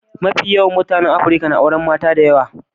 Mafi yawan mutanen Afrika na auren mata da yawa.